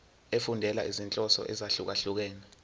efundela izinhloso ezahlukehlukene